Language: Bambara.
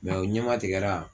Mɛ o ɲɛma tigɛra